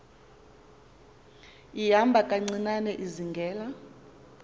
ihamba kancinane izingela